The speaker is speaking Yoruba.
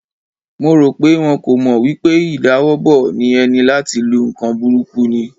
Mo ro pe wọn kò mọ wipe ìdawọ́bo eni láti lu nkan burúkú ni.